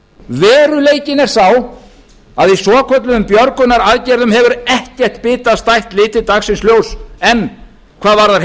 veruleikinn er sá að í svokölluðum björgunaraðgerðum hefur ekkert bitastætt litið dagsins ljós enn hvað varðar